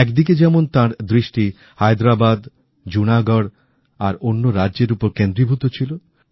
একদিকে যেমন তাঁর দৃষ্টি হায়দরাবাদ জুনাগড় আর অন্য রাজ্যের ওপর কেন্দ্রীভূত ছিল